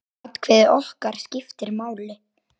Atkvæði okkar skiptir máli.